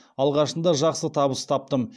алғашында жақсы табыс таптым